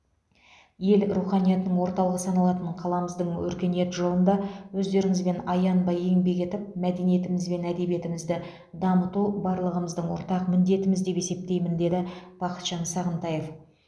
ел руханиятының орталығы саналатын қаламыздың өркениет жолында өздеріңізбен аянбай еңбек етіп мәдениетіміз бен әдебиетімізді дамыту барлығымыздың ортақ міндетіміз деп есептеймін деді бақытжан сағынтаев